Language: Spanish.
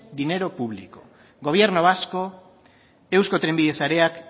dinero público gobierno vasco eusko trenbide sarea